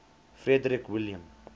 frederick william